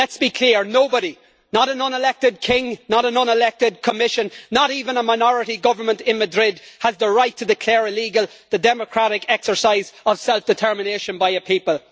Let's be clear, nobody, not a non elected king, not a non elected Commission, not even a minority government in Madrid, has the right to declare illegal the democratic exercise on self determination by a people.